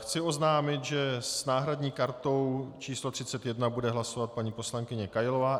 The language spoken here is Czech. Chci oznámit, že s náhradní kartou číslo 31 bude hlasovat paní poslankyně Kailová.